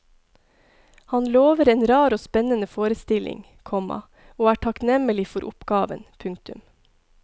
Han lover en rar og spennende forestilling, komma og er takknemlig for oppgaven. punktum